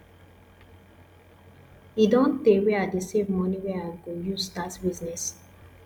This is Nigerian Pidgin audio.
e don tey wey i dey save money wey i go use start business